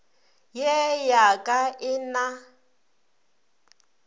ye ya ka e na